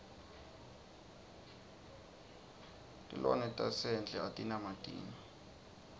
tilnanetasendle atina matinyo